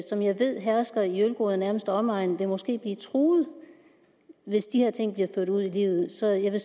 som jeg ved hersker i ølgod og nærmeste omegn vil måske blive truet hvis de her ting bliver ført ud i livet så jeg vil